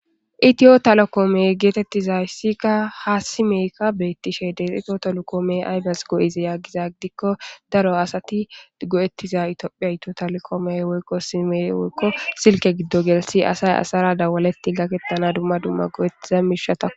itiyo talokoomey geetettizayssika ha simeykka beettishe deexifo tolukoome aybes go7ize yaggiza gidikko daro asati go7ettiza itoophiya ito talokoomey woykko sime woykko silke giddo gelsi asay asara dawaletti gakettana dumma dumma go7ettiza miishata